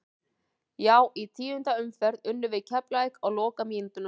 Já í tíundu umferð unnum við Keflavík á lokamínútunum.